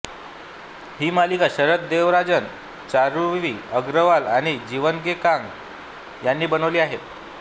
ही मालिका शरद देवराजन चारुवी अग्रवाल आणि जीवन जे कांग यांनी बनवली आहे